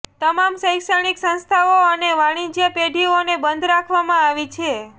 તમામ શૈક્ષણિક સંસ્થાઓ અને વાણિજ્ય પેઢીઓને બંધ રાખવામાં આવી છે